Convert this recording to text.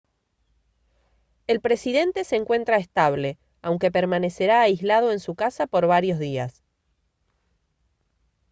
el presidente se encuentra estable aunque permanecerá aislado en su casa por varios días